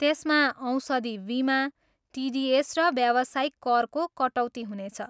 त्यसमा औषधि बिमा, टिडिएस र व्यावसायिक करको कटौती हुनेछ।